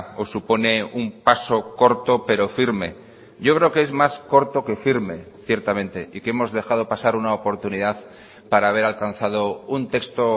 o supone un paso corto pero firme yo creo que es más corto que firme ciertamente y que hemos dejado pasar una oportunidad para haber alcanzado un texto